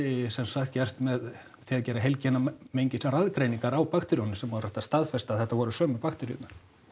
sem sagt gert með því að gera heilgenamengisraðgreiningar á bakteríunum sem var hægt að staðfesta að þetta voru sömu bakteríurnar